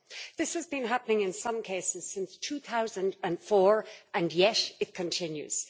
This is been happening in some cases since 2004, and yet it continues.